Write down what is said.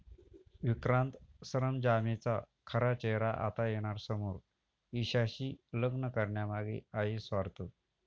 विक्रांत सरंजामेचा खरा चेहरा आता येणार समोर, ईशाशी लग्न करण्यामागे आहे स्वार्थ